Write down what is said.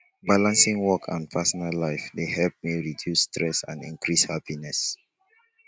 balancing work and personal life dey help me reduce stress and increase happiness